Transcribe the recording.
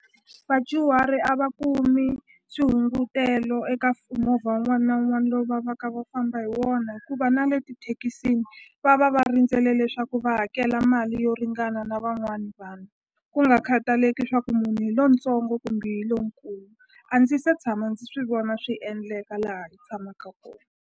Vadyuhari a va kumi swihungutelo eka movha wun'wani na wun'wani lowu va va ka va famba hi wona hikuva na le tithekisini va va va rindzele leswaku va hakela mali yo ringana na van'wani vanhu ku nga khataleki swa ku munhu hi lontsongo kumbe hi lonkulu a ndzi se tshama ndzi swi vona swi endleka laha hi tshamaka kona.